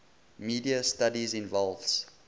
media studies involves